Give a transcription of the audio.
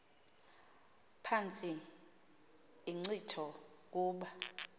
phantsi inkcitho kuba